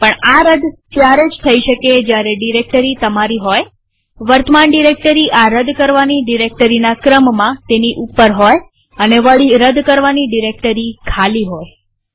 પણ આ રદ ત્યારે જ થઇ શકે જયારે ડિરેક્ટરી તમારી હોયવર્તમાન ડિરેક્ટરી આ રદ કરવાની ડિરેક્ટરીના ક્રમમાં તેની ઉપર હોયઅને વળી રદ કરવાની ડિરેક્ટરી ખાલી હોય